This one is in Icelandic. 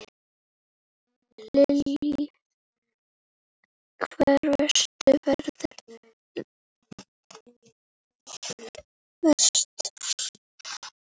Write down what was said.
Lillý: Hvar verður veðrið verst?